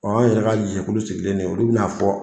O y'an yɛrɛ ka jɛkulu sigilen de, olu bɛ n'a fɔ